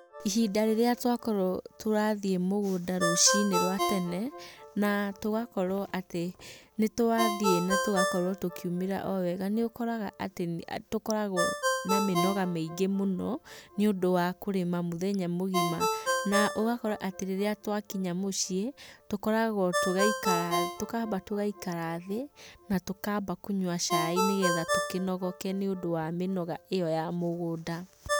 Ihinda rĩrĩa twakorwo tũrathiĩ mũgũnda rũcinĩ rwa tene, na tũgakorwo atĩ nĩ twathiĩ na tũgakorwo tũkĩumĩra o wega, nĩ ũkoraga atĩ nĩ tũkoragwo na mĩnoga mĩingĩ mũno, nĩ ũndũ wa kũrĩma mũthenya mũgima. Na ũgakora atĩ rĩrĩa twa kinya mũciĩ, tũkoragwo tũgaikara thĩ, tũkamba gaikara thĩ, na tũkamba kũnywa cai nĩgetha tũkĩnogoke nĩ ũndũ wa mĩnoga ĩo ya mĩgũnda.